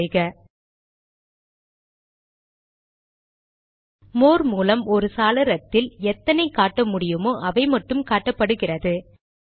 enter செய்க more மூலம் ஒரு சாளரத்தில் எத்தனை காட்ட முடியுமோ அவைமட்டும் காட்டப்படுகிறது